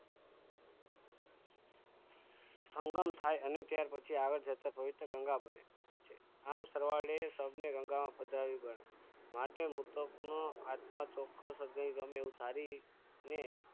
સંગમ થાય અને પછી આગળ જતા પવિત્ર ગંગા બને આમ સરવાળે શબ ને ગંગામાં પધરાવી પડે માટે મૃતક નો આત્મા ચોખ્ખો ગમે એવું ધારી ને